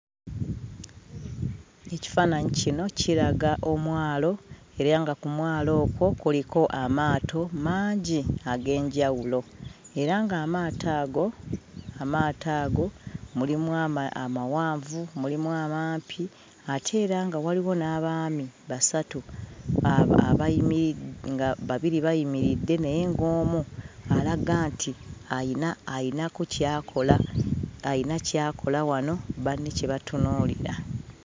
Ekifaananyi kino kiraga omwalo, era nga ku mwalo okwo kuliko amaato mangi ag'enjawulo, era ng'amaato ago amaato ago mulimu amawanvu, mulimu amampi, ate era nga waliwo n'abaami basatu abayimiri nga babiri bayimiridde naye ng'omu alaga nti ayina ayinako ky'akola, ayina ky'akola wano banne kye batunuulira.